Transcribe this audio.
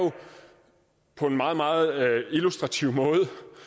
på en meget meget illustrativ måde